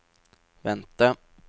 vente